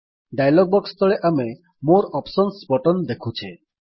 dialog box ତଳେ ଆମେ ମୋରେ ଅପସନ୍ସ ବଟନ ଦେଖୁଛେ